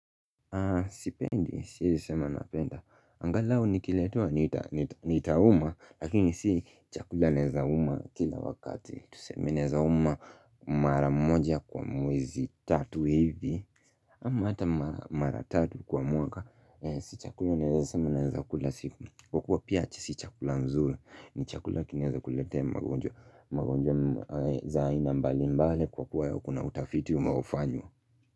Sipendi siezi sema napenda angalau nikiletewa nitahuma lakini si chakula naezauma kila wakati tuseme naezauma mara moja kwa mwezi tatu hivi ama hata mara mara tatu kwa mwaka si chakula naweza sema nawezakula siku kuwa pia si chakula nzuri ni chakula kinaeza kunilete magonjwa za aina mbali mbali kwa kuwa ya kuna utafiti unaofanyo.